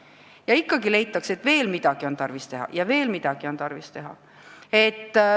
Ja ikka leitakse, et veel midagi on tarvis teha ja veel midagi on tarvis teha.